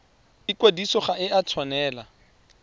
ikwadiso ga e a tshwanela